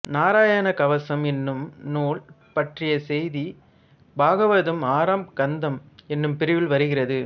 நாராயண கவசம் என்னும் நூல் பற்றிய செய்தி பாகவதம் ஆறாம் கந்தம் என்னும் பிரிவில் வருகிறது